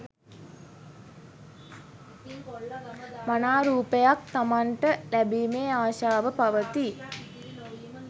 මනාරූපයක් තමන්ට ලැබීමේ ආශාව පවතී.